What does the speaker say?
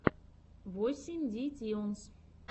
восемь ди тьюнс